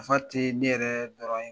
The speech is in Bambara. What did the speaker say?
Nafa tɛ ne yɛrɛ dɔrɔn ye